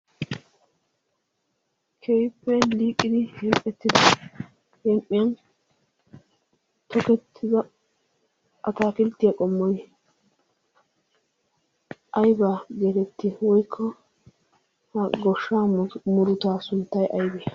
keehippe liiqidi heem'ettida huuphphiyaa tookkettida atakiltiyaa qommoy aybaa geetettii? woykko gooshshaa muruttaa sunttay aybee?